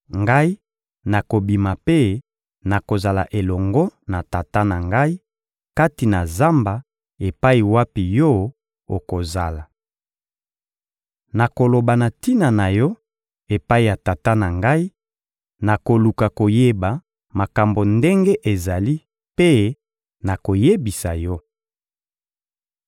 Ngai nakobima mpe nakozala elongo na tata na ngai kati na zamba epai wapi yo okozala. Nakoloba na tina na yo epai ya tata na ngai, nakoluka koyeba makambo ndenge ezali mpe nakoyebisa yo.»